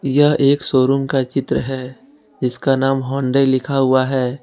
यह एक शोरूम का चित्र है जिसका नाम हुंडई लिखा हुआ है।